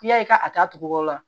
I y'a ye ka taa tugun wuguba